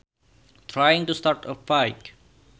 Trying to start a fight